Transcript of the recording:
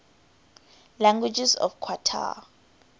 languages of qatar